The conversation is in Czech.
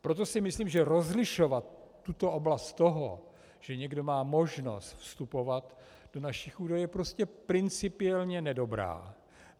Proto si myslím, že rozlišovat tuto oblast toho, že někdo má možnost vstupovat do našich údajů, je prostě principiálně nedobrá.